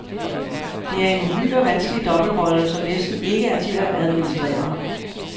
Det er en uhyre vanskelig dobbeltrolle, som næsten ikke er til at administrere.